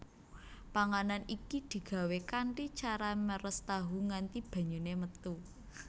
Panganan iki digawé kanthi cara meres tahu nganti banyune metu